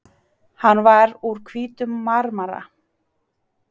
Hann var úr hvítum marmara.